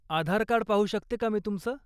आधारकार्ड पाहू शकते का मी तुमचं?